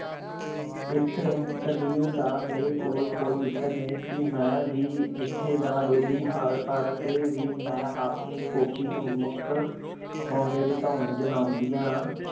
ਇਸ ਦਲੀਲ ਦਾ ਮੇਰੇ ਕੋਲ ਕੋਈ ਉੱਤਰ ਨਹੀਂ ਸੀ, ਮੈਂ ਵੀ ਮਿੱਠੇ ਦਾ ਲੋਭੀ ਹਾਂ ਪਰ ਫਿਰ ਵੀ ਮੈਂ ਆਪਣੀ ਫੋਕੀ ਹਿੰਮਕ ਬਣਾਉਂਦਿਆਂ